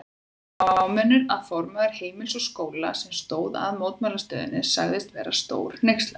Svo fámennur að formaður Heimilis og Skóla, sem stóð að mótmælastöðunni sagðist vera stórhneykslaður.